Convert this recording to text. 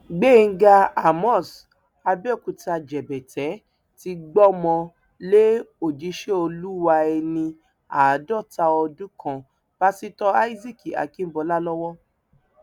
gbẹngà àmos abéòkúta jẹbẹtẹ ti gbọmọ lé òjíṣẹ olúwa ẹni àádọta ọdún kan pásítọ isaac akínbọlá lọwọ